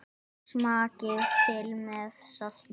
Smakkið til með salti.